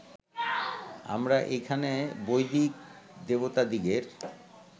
আমরা এইখানে বৈদিক দেবতাদিগের